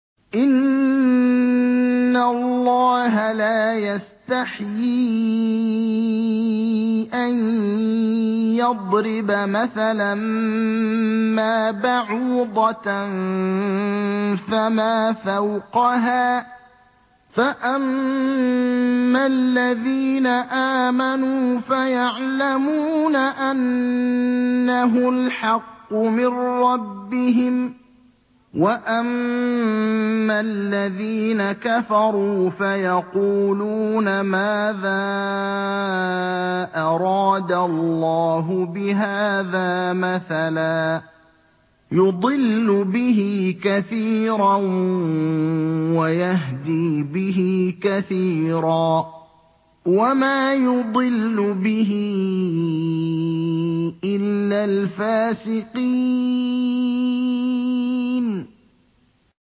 ۞ إِنَّ اللَّهَ لَا يَسْتَحْيِي أَن يَضْرِبَ مَثَلًا مَّا بَعُوضَةً فَمَا فَوْقَهَا ۚ فَأَمَّا الَّذِينَ آمَنُوا فَيَعْلَمُونَ أَنَّهُ الْحَقُّ مِن رَّبِّهِمْ ۖ وَأَمَّا الَّذِينَ كَفَرُوا فَيَقُولُونَ مَاذَا أَرَادَ اللَّهُ بِهَٰذَا مَثَلًا ۘ يُضِلُّ بِهِ كَثِيرًا وَيَهْدِي بِهِ كَثِيرًا ۚ وَمَا يُضِلُّ بِهِ إِلَّا الْفَاسِقِينَ